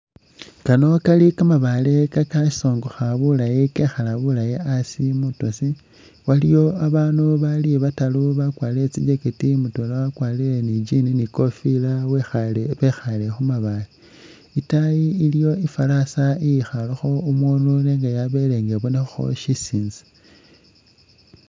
Kano kali kamabaale kakasongokha bulayi kekhala asi mwitosi. Abaandu bali bataru bakwarire tsi jacket, mutwela wakwarire ni i'jean ni i'kofila wekhaale, bekhaale khu mabaale. Itaayi iliwo i'farasa iyikhaalekho umuunu nenga yabele nga ibonekhakho syisinza.